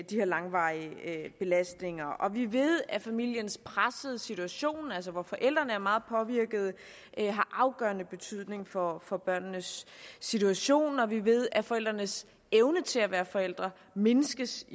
de her langvarige belastninger vi ved at familiernes pressede situation altså hvor forældrene er meget påvirkede har afgørende betydning for for børnenes situation og vi ved at forældrenes evne til at være forældre mindskes